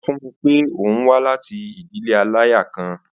Ó sọ fún mi pé òun wá láti ìdílé aláya kan.